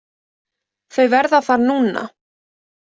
Þau verða þar núna.